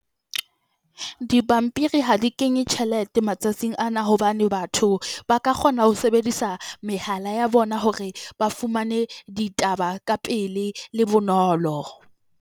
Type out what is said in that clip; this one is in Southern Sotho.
Dipampiri ha di kenye tjhelete matsatsing ana hobane, batho ba ka kgona ho sebedisa mehala ya bona hore ba fumane ditaba ka pele le bonolo.